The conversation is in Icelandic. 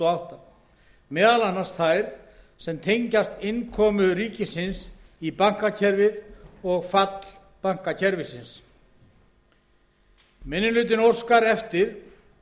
og átta meðal annars þær sem tengjast innkomu ríkisins í bankakerfið og falli bankakerfisins minni hlutinn óskar eftir